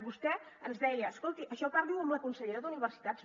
vostè ens deia escolti això parli ho amb la consellera d’universitats